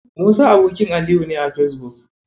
Musa abokin Aliyu ne a Fesbuk.